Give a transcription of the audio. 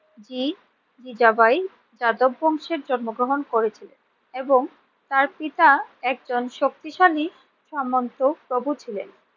জি জিজাবাই যাদব বংশে জন্মগ্রহণ করেছিলেন এবং তার পিতা একজন শক্তিশালী সামন্ত প্রভু ছিলেন।